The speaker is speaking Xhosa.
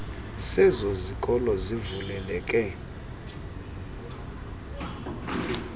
sezo zikolo sivuleleke